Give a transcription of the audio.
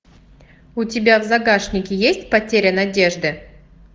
у тебя в загашнике есть потеря надежды